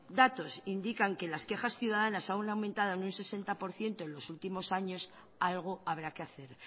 datos indican que las quejas ciudadanas han aumentado en un sesenta por ciento en los últimos años algo habrá que hacer